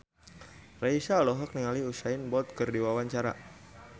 Raisa olohok ningali Usain Bolt keur diwawancara